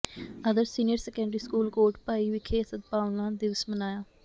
ਆਦਰਸ਼ senior secondary school Kotbhai ਵਿਖੇ ਸਦਭਾਵਨਾ ਦਿਵਸ ਮਨਾਇਆ